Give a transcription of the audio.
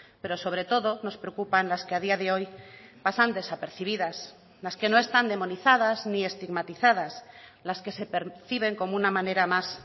pero sobre todo nos preocupan las que a día de hoy pasan desapercibidas las que no están demonizadas ni estigmatizadas las que se perciben como una manera más